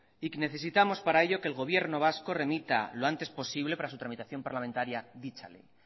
y necesitamos para ello que el gobierno vasco remita lo antes posible para su tramitación parlamentaria dicha ley